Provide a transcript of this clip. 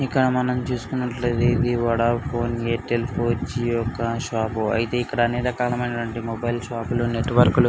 మనము ఇక్కడ చూస్తున్నట్లయితే వోడాఫోన్ యిర్టెల్ ఫోన్ జిఓ ఒక షాప్ ఐతే ఇక్కడ అనేక రకమైన మొబైల్ షాపులు నెటవర్క్లు --